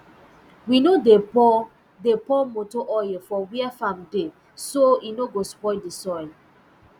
we no dey pour dey pour motor oil for where farm dey so e no go spoil d soil